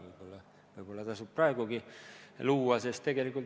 Võib-olla tasub see praegugi luua.